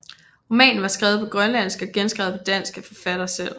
Romanen var skrevet på grønlandsk og genskrevet på dansk af forfatter selv